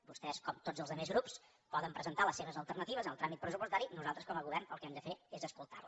vostès com tots els altres grups poden presentar les seves alternatives en el tràmit pressupostari i nosaltres com a govern el que hem de fer és escoltar les